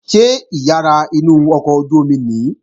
Ṣé ìyàrá inú ọkọ̀ ojú-omi nìí?